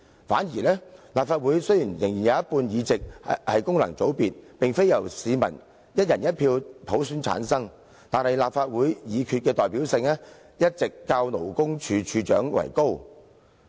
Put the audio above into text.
反之，立法會雖然有一半議席由功能界別產生，而非由市民"一人一票"普選產生，但立法會決議的代表性，一直較勞工處處長為高。